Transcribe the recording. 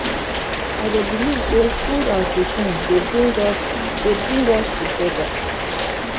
i dey believe say food and cuisine dey bring us dey bring us together.